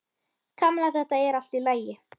Kamilla, þetta er allt í lagi.